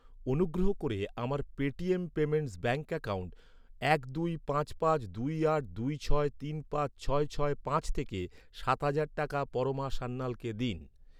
অনুগ্রহ করে আমার পেটিএম পেমেন্টস ব্যাঙ্ক অ্যাকাউন্ট এক দুই পাঁচ পাঁচ দুই আট দুই ছয় তিন পাঁচ ছয় ছয় পাঁচ থেকে সাত হাজার টাকা পরমা সান্যালকে দিন।